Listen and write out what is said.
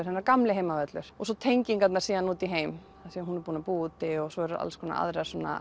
hennar gamli heimavöllur og svo tengingarnar síðan út í heim af því hún hefur búið úti svo eru alls konar aðrar